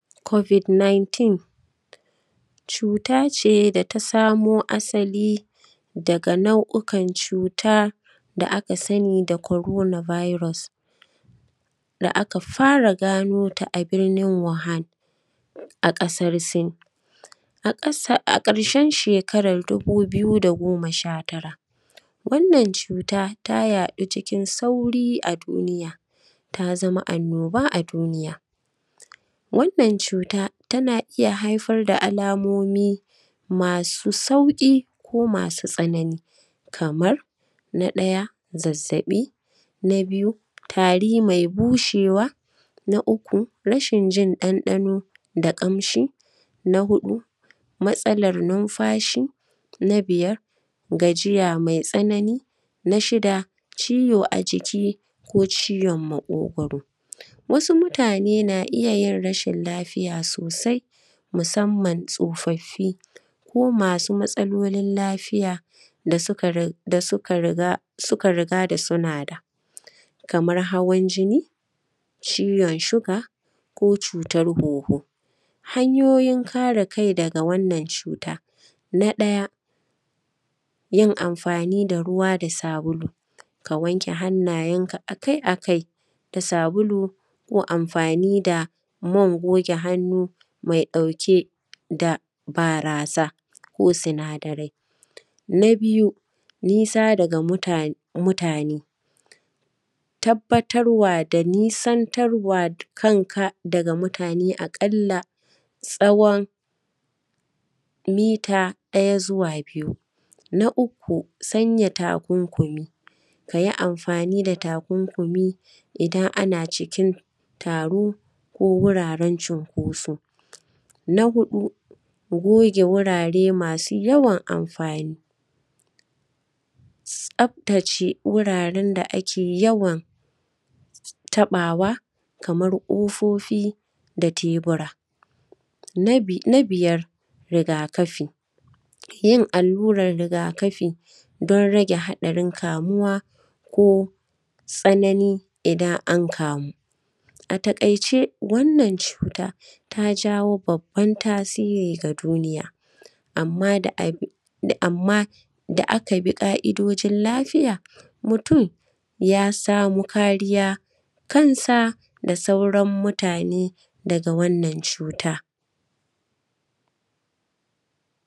covid 19 cuta ce da ta samo asali daga nau’ukan cuta da aka sani da corona virus da aka fara ganota a birnin wohan a ƙasar sin a ƙarshen shekara na dubu biyu da goma sha tara wannan cuta ta yaɗu cikin sauri a duniya ta zama annoba a duniya wannan cuta tana iya haifar da alamomi masu sauƙi ko masu tsanani kamar na ɗaya zazzaɓi na biyu tari mai bushewa na uku rashin jin ɗanɗano da ƙamshi na huɗu matsalan numfashi na biyar gajiya mai tsanani na shida ciwo a jiki ko ciwon maƙogwaro wasu mutane na iyayin rashin lafiya sosai musamman tsofaffi ko masu matsalolin lafiya da suka riga da suna da kamar hawan jini ciwon siga ko cutan hunhu hanyoyin kare kai daga wannan cuta na ɗaya yin amfani da ruwa da sabulu ka wanke hannayenka a kai a kai da sabulu ko amfani da man goge hannu mai ɗauke da barasa ko sinadarai na biyu nisa daga mutane tabbatarwa da nisantarwa da kan ka daga mutane a ƙalla tsawon mita ɗaya zuwa biyu na uku sanya takunkumi ka yi amfani da takunkumi idan ana cikin taro ko wuraren cinkoso na huɗu goge wurare masu yawan amfani tsaftace wuraren da ake yawan taɓawa kamar ƙofofi da tebura na biyar rigakafi yin alluran rigakafi don rage haɗarin kamuwa ko tsanani idan an kamu a taƙaice wannan cuta ta jawo babban tasiri ga duniya amma da aka bi ƙa’idojin lafiya mutum ya samo kariya kansa da sauran mutane daga wannan cuta